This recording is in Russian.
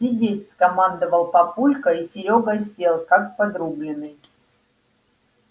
сидеть скомандовал папулька и серёга сел как подрубленный